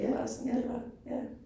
Ja, ja, ja